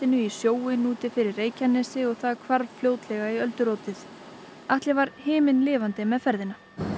í sjóinn úti fyrir Reykjanesi og hvarf fljótlega í öldurótið Atli var himinlifandi með ferðina